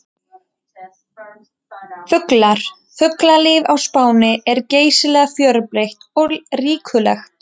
Fuglar: Fuglalíf á Spáni er geysilega fjölbreytt og ríkulegt.